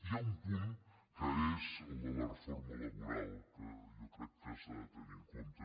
hi ha un punt que és el de la reforma laboral que jo crec que s’ha de tenir en compte